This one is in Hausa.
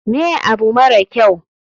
Me abu mara kyau?